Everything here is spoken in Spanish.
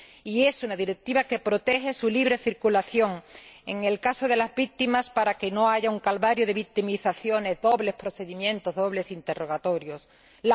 Y es una directiva que protege la libre circulación de las víctimas, para que no haya un calvario de victimizaciones dobles, procedimientos dobles e interrogatorios dobles.